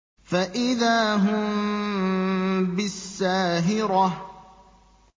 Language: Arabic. فَإِذَا هُم بِالسَّاهِرَةِ